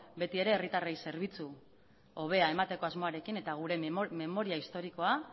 beti ere herritarrei zerbitzu hobea emateko asmoarekin eta gure memoria historikoa